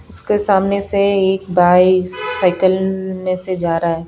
उसके सामने से एक भाई साइकिल में से जा रहा है।